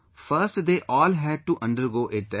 First they all had to undergo a test